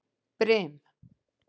Brim